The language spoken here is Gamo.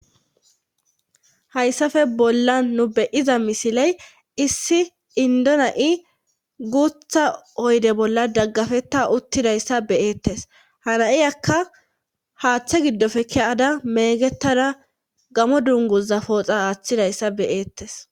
hayssafe bolla nu beyiza misiley issi indona7i guutha oyde bolla daggafetta uttidayssa beyeettes haraiyakka haaththe giddofe ke7ada meegetada gamo dunguza pooxa aaththidayssa beyeettes